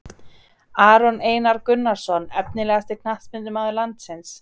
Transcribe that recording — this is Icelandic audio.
Aron Einar Gunnarsson Efnilegasti knattspyrnumaður landsins?